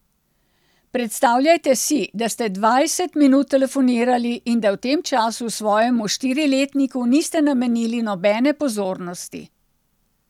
Predstavljajte si, da ste dvajset minut telefonirali in da v tem času svojemu štiriletniku niste namenili nobene pozornosti.